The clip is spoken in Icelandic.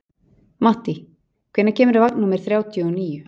Mattý, hvenær kemur vagn númer þrjátíu og níu?